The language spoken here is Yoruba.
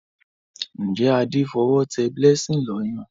Njé Ade f'owo té blessing ló Ọyàn?